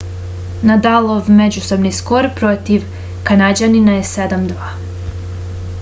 nadalov međusobni skor protiv kanađanina je 7-2